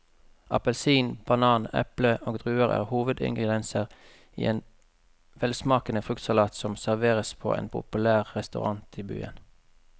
Appelsin, banan, eple og druer er hovedingredienser i en velsmakende fruktsalat som serveres på en populær restaurant i byen.